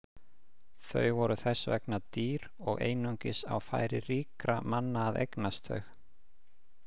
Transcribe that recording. Þau voru þess vegna dýr og einungis á færi ríkra manna að eignast þau.